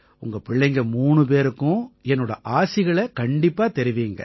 உங்க பிள்ளைங்க மூணு பேருக்கும் என்னோட ஆசிகளைத் தெரிவியுங்க